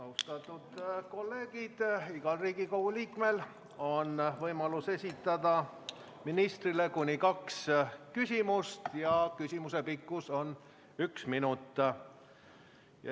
Austatud kolleegid, igal Riigikogu liikmel on võimalus esitada ministrile kuni kaks küsimust ja küsimuse pikkus on üks minut.